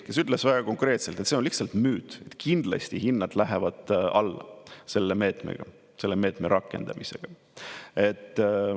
Ta ütles väga konkreetselt, et see on lihtsalt müüt, kindlasti hinnad lähevad alla selle meetmega, selle meetme rakendamisega.